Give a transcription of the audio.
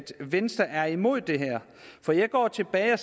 venstre er imod det her når jeg går tilbage og